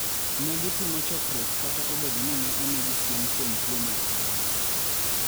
Ne gitimo chokruok kata obedo ni ne omigi siem kuom tuo mar corona.